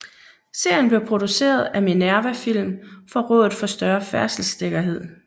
Serien blev produceret af Minerva Film for Rådet For Større Færdselssikkerhed